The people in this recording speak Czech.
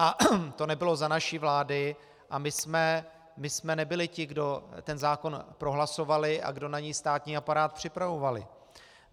A to nebylo za naší vlády a my jsme nebyli ti, kdo ten zákon prohlasovali a kdo na něj státní aparát připravovali.